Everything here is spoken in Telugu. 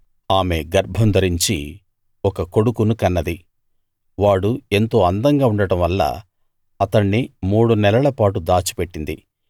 ఆమె గర్భం ధరించి ఒక కొడుకును కన్నది వాడు ఎంతో అందంగా ఉండడం వల్ల అతణ్ణి మూడు నెలల పాటు దాచిపెట్టింది